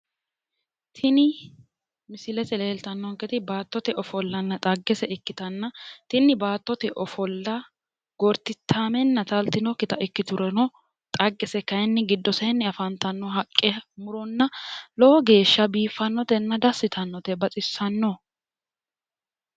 Tini misilete leeltannonketi baattote ofollanna xagge ikkitanna tini baattote ofolla gortitaamenna taaltinokkita ikiturono xaggese kaayiinni giddoseenni afantanno haqqe muro lowo geeshsha biiffannotenna dassi yitannote baxissanno.